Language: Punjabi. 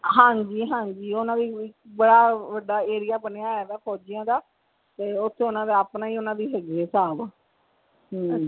ਹਾਂਜੀ ਹਾਂਜੀ ਓਹਨਾ ਵੀ ਬੜਾ ਵੱਡਾ area ਬਣਿਆ ਹੋਇਆ ਵਾ ਫੋਜੀਆਂ ਦਾ ਤੇ ਓਥੇ ਓਹਨਾ ਦਾ ਆਪਣਾ ਹੀ ਓਹਨਾ ਦੀ ਹੈਗੀ ਆ ਹਿਸਾਬ ਹਮ